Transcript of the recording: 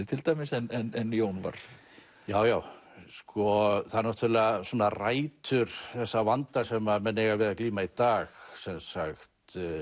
til dæmis en Jón var já já sko það náttúrulega svona rætur þessa vanda sem að menn eiga við að glíma í dag sem sagt